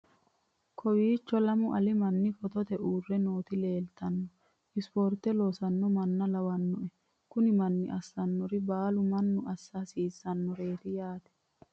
kowiicho lamu ali manni footote uurre nooti leeltano sporte loosanno manna lawannoe kuni manni assannori baalu manni assa hasiissannoreeti yaate